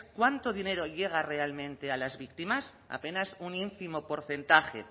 cuánto dinero llega realmente a las víctimas apenas un ínfimo porcentaje